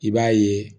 I b'a ye